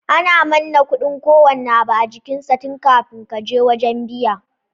Ana manna kudin kowanne abu a jikin sa tun kafin kaje wajan biya